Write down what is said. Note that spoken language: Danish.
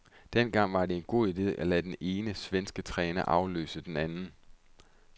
Dengang var det en god ide at lade den ene svenske træner afløse den anden.